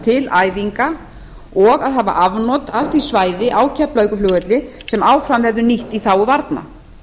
til æfinga og að hafa afnot af því svæði á keflavíkurflugvelli sem áfram verður nýtt í þágu varna